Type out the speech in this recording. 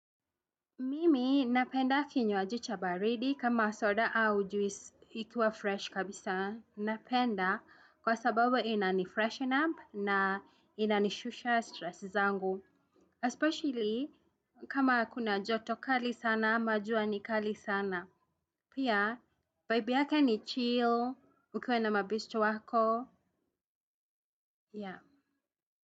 Mimi napenda kinywaji cha baridi kama soda au juisi ikiwa fresh kabisa napenda kwa sababu inani freshen up na inani shusha stress zangu. Especially kama kuna joto kali sana ama jua ni kali sana. Pia vibe yake ni chill ukiwa na mabeste wako.